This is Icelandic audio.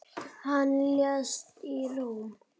Hann lést í Róm.